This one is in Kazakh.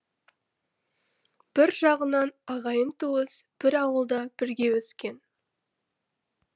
бір жағынан ағайын туыс бір ауылда бірге өскен